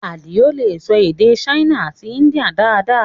Adio lè sọ èdè Ṣáínà àti India dáadáa